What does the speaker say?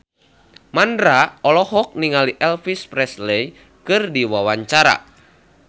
Mandra olohok ningali Elvis Presley keur diwawancara